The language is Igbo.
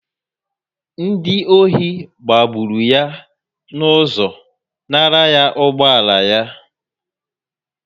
Ndị ọchị gbagburu ya n'ụzọ nara ya ụgbọala yá